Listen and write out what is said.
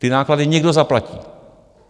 Ty náklady někdo zaplatí.